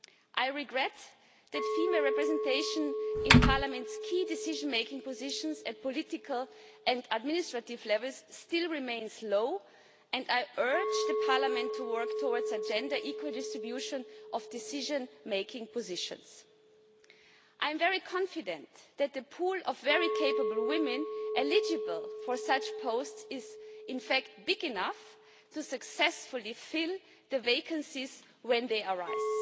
I regret that female representation in Parliament's key decision-making positions at political and administrative levels still remains low and I urge Parliament to work towards a gender equal distribution of decision making positions. I am very confident that the pool of very capable women eligible for such posts is in fact big enough to successfully fill the vacancies when they arise.